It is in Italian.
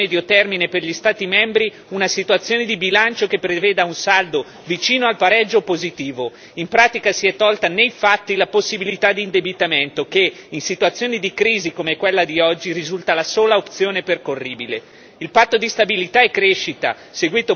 Questo regolamento, infatti, indica come obiettivo a medio termine per gli Stati membri una situazione di bilancio che prevede un saldo vicino al pareggio o positivo. In pratica si è tolta nei fatti la possibilità di indebitamento che in situazioni di crisi come quella di oggi risulta la sola opzione percorribile.